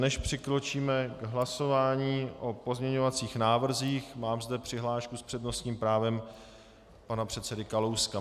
Než přikročíme k hlasování o pozměňovacích návrzích, mám zde přihlášku s přednostním právem pana předsedy Kalouska.